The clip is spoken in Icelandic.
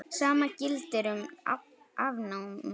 Sama gildir um afnámu.